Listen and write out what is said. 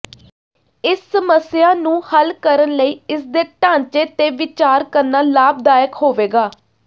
ਇਸ ਸਮੱਸਿਆ ਨੂੰ ਹੱਲ ਕਰਨ ਲਈ ਇਸ ਦੇ ਢਾਂਚੇ ਤੇ ਵਿਚਾਰ ਕਰਨਾ ਲਾਭਦਾਇਕ ਹੋਵੇਗਾ